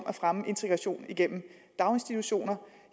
at fremme integrationen gennem daginstitutioner